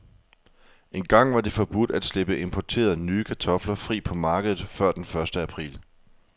Engang var det forbudt at slippe importerede, nye kartofler fri på markedet før den første april.